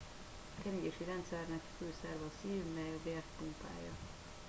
a keringési rendszernek fő szerve a szív mely a vért pumpálja